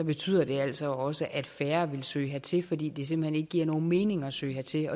betyder det altså også at færre vil søge hertil fordi det simpelt hen ikke giver nogen mening at søge hertil